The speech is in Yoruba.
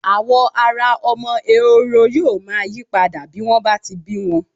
Àwọ̀ ara ọmọ ẹhoro yóò máa yí padà bí wọ́n bá ti bí wọn.